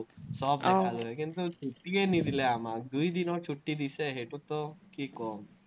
কিন্তু, ছুট্টিয়ে নিদিলে আমাক, দুই দিনৰ ছুটি দিছে, সেইটোতো কি ক'ম।